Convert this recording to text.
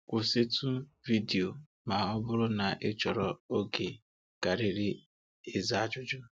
kwụsịtụ vidiyo ma ọ bụrụ na ị chọrọ oge karịrị ịza ajụjụ.